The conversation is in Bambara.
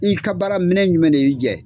I ka baara minɛ jumɛn de y'i jɛ?